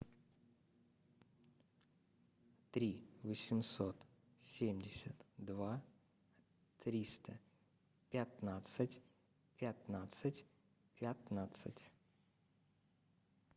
три восемьсот семьдесят два триста пятнадцать пятнадцать пятнадцать